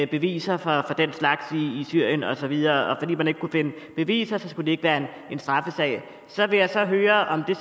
beviser for den slags i syrien og så videre og fordi man ikke kunne finde beviser skulle det ikke være en straffesag så vil jeg så høre om det